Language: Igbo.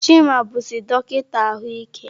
Chima bụzi dọkịta ahụike.